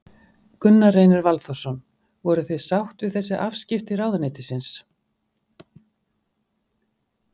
Gunnar Reynir Valþórsson: Voruð þið sátt við þessi afskipti ráðuneytisins?